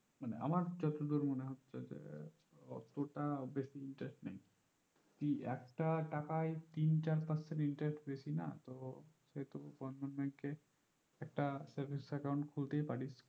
মানে আমার যতদূর মনে হচ্ছে যে অতটা বেশি interest নেই কি একটা টাকায় তিন চার percent interest বেশি না তো সেহেতু হতো বন্ধন bank এ একটা savings account খুলতেই পারিস